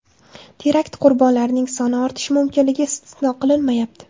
Terakt qurbonlarining soni ortishi mumkinligi istisno qilinmayapti.